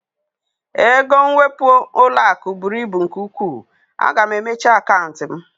Ego nwepu ụlọaku bụrụ ibu nke ụkwụ, a ga m emechi akantị m